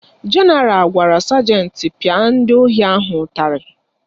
Jenaral gwara sajenti pịa ndị ohi ahụ ụtarị